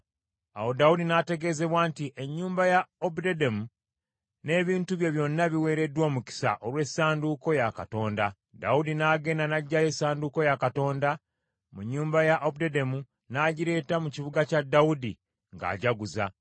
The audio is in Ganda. Awo Dawudi n’ategeezebwa nti, “Ennyumba ya Obededomu n’ebintu bye byonna biweereddwa omukisa olw’essanduuko ya Katonda.” Dawudi n’agenda n’aggyayo essanduuko ya Katonda mu nnyumba ya Obededomu n’agireeta mu kibuga kya Dawudi ng’ajaguza.